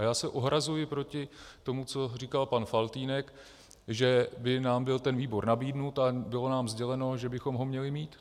A já se ohrazuji proti tomu, co říkal pan Faltýnek, že by nám byl ten výbor nabídnut, ale bylo nám sděleno, že bychom ho měli mít.